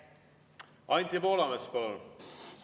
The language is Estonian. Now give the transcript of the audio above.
Anti Poolamets, palun!